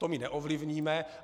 To my neovlivníme.